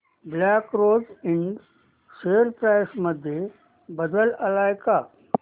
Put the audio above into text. black rose ind share price मध्ये बदल आलाय का